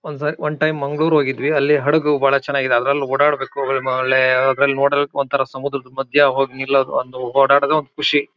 ಒಂದ್ ಸರಿ ಒಂದ್ ಟೈಮ್ ಮಂಗಳೂರು ಹೋಗಿದ್ವಿ ಅಲ್ಲಿ ಹಡಗು ಬಹಳ ಚೆನ್ನಾಗಿ ಇದೆ ಅದರಲ್ಲೂ ಓಡಾಡ್ಬೇಕು ಒ ಮ ಒಳ್ಳೆ ಅದರಲ್ಲಿ ನೋಡೋಕ್ಕೆ ಒಂಥರಾ ಸಮುದ್ರ ಮಧ್ಯದಲ್ಲಿ ಹೋಗ್ ನಿಳೋದ್ ಒಂದು ಓಡಾಡೋದೇ ಒಂದ್ ಖುಷಿ.